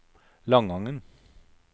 Langangen